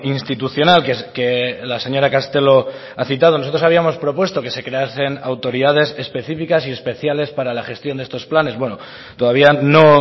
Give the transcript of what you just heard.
institucional que la señora castelo ha citado nosotros habíamos propuesto que se creasen autoridades específicas y especiales para la gestión de estos planes bueno todavía no